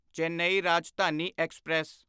Chennai Rajdhani express